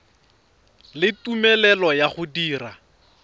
le tumelelo ya go dira